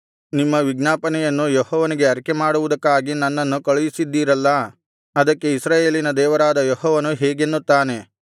ನಿಮ್ಮ ವಿಜ್ಞಾಪನೆಯನ್ನು ಯೆಹೋವನಿಗೆ ಅರಿಕೆಮಾಡುವುದಕ್ಕಾಗಿ ನನ್ನನ್ನು ಕಳುಹಿಸಿದ್ದಿರಲ್ಲಾ ಅದಕ್ಕೆ ಇಸ್ರಾಯೇಲಿನ ದೇವರಾದ ಯೆಹೋವನು ಹೀಗೆನ್ನುತ್ತಾನೆ